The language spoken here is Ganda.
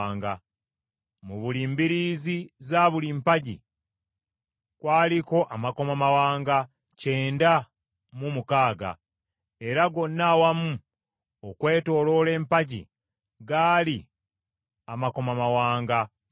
Mu buli mbiriizi za buli mpagi kwaliko amakomamawanga kyenda mu mukaaga era gonna awamu okwetooloola empagi gaali amakomamawanga kikumi.